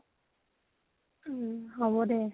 উম । হব দে।